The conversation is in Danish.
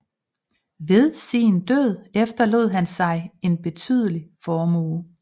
Ved sin død efterlod han sig en betydelig formue